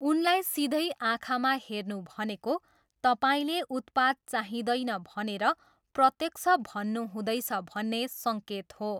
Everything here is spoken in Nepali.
उनलाई सिधै आँखामा हेर्नु भनेको तपाईँले उत्पाद चाहिँदैन भनेर प्रत्यक्ष भन्नुहुँदैछ भन्ने सङ्केत हो।